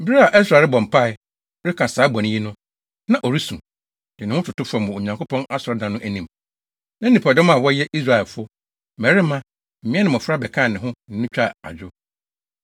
Bere a Ɛsra rebɔ mpae, reka saa bɔne yi no, na ɔresu, de ne ho toto fam wɔ Onyankopɔn Asɔredan no anim, na nnipadɔm a wɔyɛ Israelfo, mmarima, mmea ne mmofra bɛkaa ne ho ne no twaa adwo.